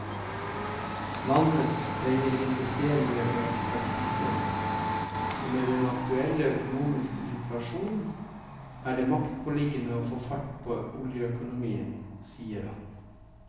Landet trenger investeringer og ekspertise, og med den aktuelle økonomiske situasjon er det maktpåliggende å få fart på oljeøkonomien, sier han.